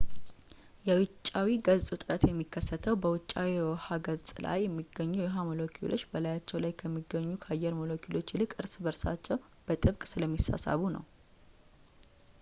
የ ውጫዊ ገጽ ውጥረት የሚከተሰው በውጫዊው የውሃው ገጽ ላይ የሚገኙት የውሃ ሞለኪውሎች በላያቸው ላይ ከሚገኙት ከአየር ሞለኪውሎች ይልቅ እርስ በእርሳቸው በጥብቅ ስለሚሳሳቡ ነው